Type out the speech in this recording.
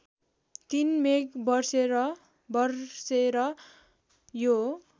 ३ मेघ बर्सेर यो